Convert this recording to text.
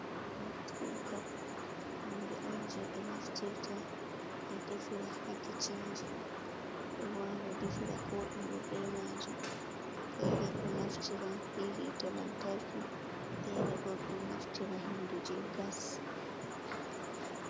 Gas kuka hunde on je ɓe naftirta ɓe defira ha kicinji ɓeɗo wawa defira ko ɗumbe be majum. Fere do naftira be hiite lantarki, fere bo do naftira hendu je gas.